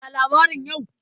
Ya labarin yau?